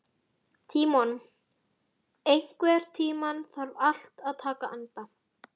Tímon, einhvern tímann þarf allt að taka enda.